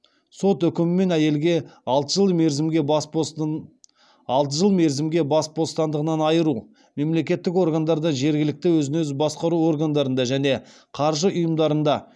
сот үкімімен әйелге алты жыл мерзімге бас бостандығынан айыру мемлекеттік органдарда жергілікті өзін өзі басқару органдарында және қаржы ұйымдарында